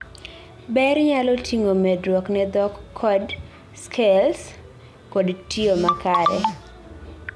ber nyalo ting'o medruok ne dhok code skills kod tiyo ma kare